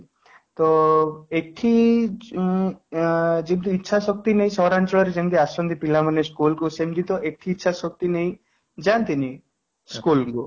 ତ ଏଠି ଉଁ ଆଁ ଆଜି ଇଛା ଶକ୍ତି ନେଇ ସହରାଞ୍ଚଳରେ ଯେମିତି ଆସନ୍ତି ପିଲା ମାନେ school କୁ ସେମିତି ତ ଏଠି ଇଛା ଶକ୍ତି ନେଇ ଯାଆନ୍ତିନି ସ୍କୁଲ କୁ